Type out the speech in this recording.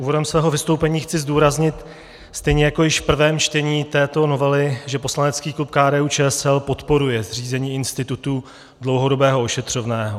Úvodem svého vystoupení chci zdůraznit stejně jako již v prvém čtení této novely, že poslanecký klub KDU-ČSL podporuje zřízení institutu dlouhodobého ošetřovného.